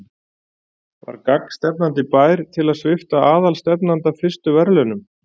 Var gagnstefnandi bær til að svipta aðalstefnanda fyrstu verðlaunum?